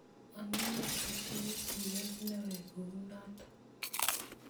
amune sitinye siet nekoi kunoto